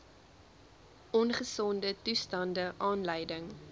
ongesonde toestande aanleiding